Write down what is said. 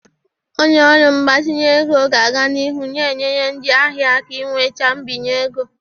Onye ọrụ mgbazinye ego ga-aga n'ihu na-enyere ndị ahịa aka inweta mbinye ego.